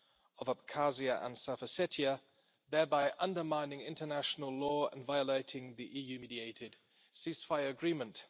of Abkhazia and South Ossetia, thereby undermining international law and violating the EU mediated ceasefire agreement.